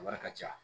A wari ka ca